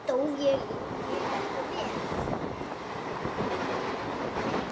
Stóð ég mig ekki vel?